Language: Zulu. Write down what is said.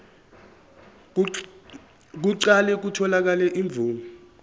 kuqale kutholakale imvume